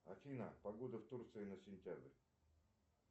афина погода в турции на сентябрь